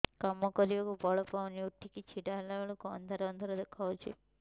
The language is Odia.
କାମ କରିବାକୁ ବଳ ପାଉନି ଉଠିକି ଛିଡା ହେଲା ବେଳକୁ ଅନ୍ଧାର ଅନ୍ଧାର ଦେଖା ଯାଉଛି